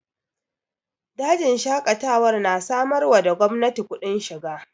Dajin Shaƙatawar na samar wa da gwamnati kudin shiga